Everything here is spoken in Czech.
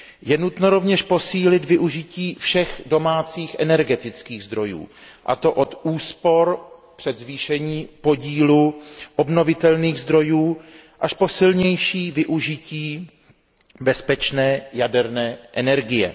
Je nutno rovněž posílit využití všech domácích energetických zdrojů, a to od úspor přes zvýšení podílu obnovitelných zdrojů až po silnější využití bezpečné jaderné energie.